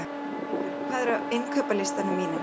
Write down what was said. Eyríkur, hvað er á innkaupalistanum mínum?